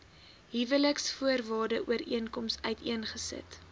huweliksvoorwaarde ooreenkoms uiteengesit